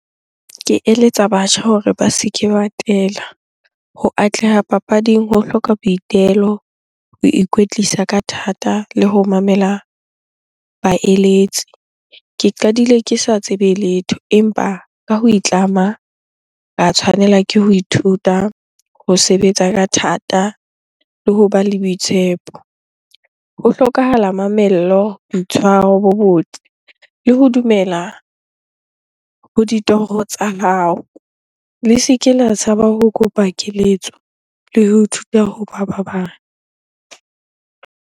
Ke eletsa batjha hore ba se ke ba tela. Ho atleha papading ho hloka boitelo, ho ikwetlisa ka thata le ho mamela baeletsi. Ke qadile ke sa tsebe letho empa ka ho itlama, ka tshwanela ke ho ithuta ho sebetsa ka thata le hoba le boitshepo. Ho hlokahala mamello, boitshwaro bo botle le ho dumela ho ditoro tsa hao. Le se ke la tshaba ho kopa keletso le ho ithuta hoba ba bang.